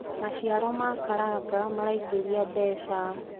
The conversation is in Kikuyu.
maciaro ma karanga maraingiria mbeca